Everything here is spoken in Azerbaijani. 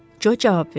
Co cavab verdi.